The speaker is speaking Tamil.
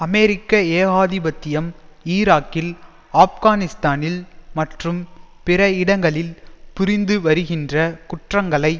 அமெரிக்க ஏகாதிபத்தியம் ஈராக்கில் ஆப்கானிஸ்தானில் மற்றும் பிற இடங்களில் புரிந்து வருகின்ற குற்றங்களை